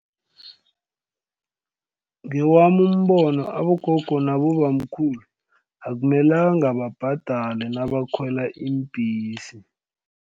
Ngewami umbono abogogo nabobamkhulu akumelanga babhadale nabakhwela iimbhesi.